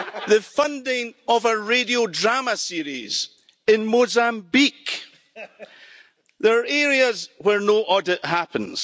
The funding of a radio drama series in Mozambique. There are areas where no audit happens.